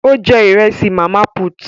Ó jẹ Ìrẹ́sì màmá put